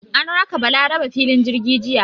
An raka Balarabe filin jirgi jiya.